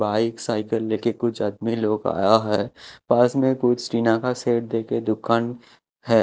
Bike cycle ले के कुछ आदमी लोग आया है पास में कुछ टीना का सेट दे के दुकान है।